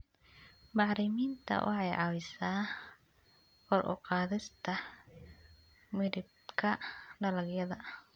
Bacriminta waxay caawisaa kor u qaadista midabka dalagyada.